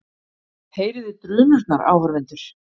Heyrið þig drunurnar, áhorfendur?